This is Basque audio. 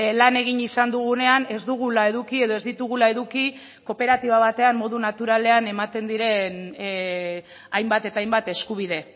lan egin izan dugunean ez dugula eduki edo ez ditugula eduki kooperatiba batean modu naturalean ematen diren hainbat eta hainbat eskubide